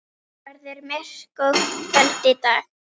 Hún verður myrk og köld í dag.